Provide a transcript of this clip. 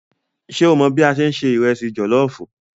Ṣé o mọ̀ bí a ṣe ń se ìrẹsì jọ̀lọ́ọ̀fù?